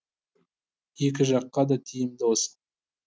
екі жаққа да тиімдісі осы